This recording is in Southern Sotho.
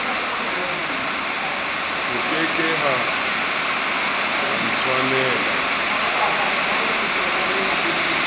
ho ke ke ha ntswela